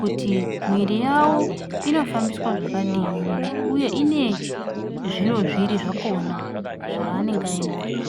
kuti yawo inofambiswa zvakadini uye ine zviro zviri zvakona zvainenge ainazvo.